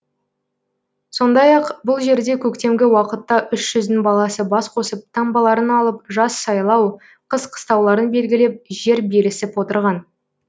сондай ақ бұл жерде көктемгі уақытта үш жүздің баласы бас қосып таңбаларын алып жаз жайлау қыс қыстауларын белгілеп жер берісіп отырған